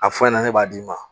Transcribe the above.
A fɔ in ɲɛna ne b'a d'i ma